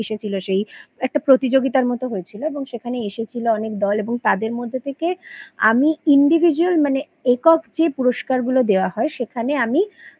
এসেছিলো সেই একটা প্রতিযোগিতার মতন হয়েছিল এবং সেখানে এসেছিলো অনেক দল এবং তাদের মধ্যে থেকে আমি Individual মানে একক যে পুরস্কারগুলো দেওয়া হয় সেখানে আমি